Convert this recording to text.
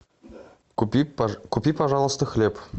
купи пожалуйста хлеб